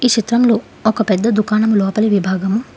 ఈ చిత్రంలో ఒక పెద్ద దుకాణంలో లోపలి విభాగం.